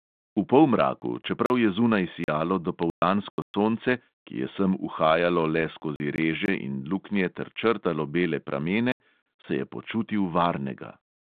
V polmraku, čeprav je zunaj sijalo dopoldansko sonce, ki je sem uhajalo le skozi reže in luknje ter črtalo bele pramene, se je počutil varnega.